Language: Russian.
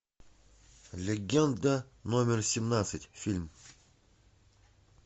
легенда номер семнадцать фильм